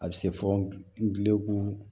A bɛ se fɔ ngilɛgu